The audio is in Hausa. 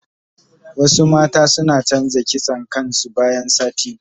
Wasu mata suna canza kitson kain su bayan sati biyu.